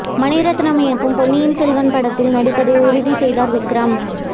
மணி ரத்னம் இயக்கும் பொன்னியின் செல்வன் படத்தில் நடிப்பதை உறுதி செய்தார் விக்ரம்